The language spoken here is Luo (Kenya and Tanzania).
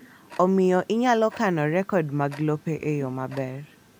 Omiyo inyalo kano rekod mag lope e yo maber.